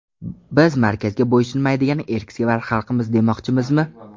Biz markazga bo‘ysunmaydigan erksevar xalqmiz demoqchimizmi?